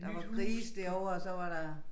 Der var grise derovre og så var der